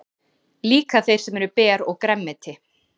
Líka þeir sem eru ber og grænmeti.